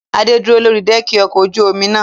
Adé dúró lórí dẹ́ẹ̀kì ọkọ ojú omi náà.